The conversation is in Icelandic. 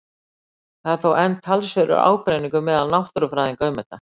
Það er þó enn talsverður ágreiningur meðal náttúrufræðinga um þetta.